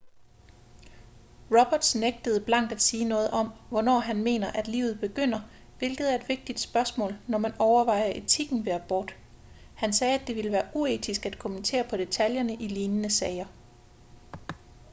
roberts nægtede blankt at sige noget om hvornår han mener at livet begynder hvilket er et vigtigt spørgsmål når man overvejer etikken ved abort han sagde at det ville være uetisk at kommentere på detaljerne i lignende sager